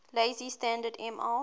lazy standard ml